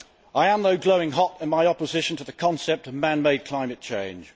I am, though, glowing hot in my opposition to the concept of man made climate change.